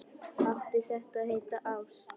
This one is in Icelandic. Átti þetta að heita ást?